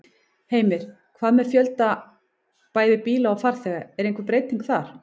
Heimir: Hvað með fjölda bæði bíla og farþega, er einhver breyting þar?